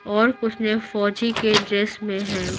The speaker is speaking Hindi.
और कुछ ने फौजी के ड्रेस में हैं।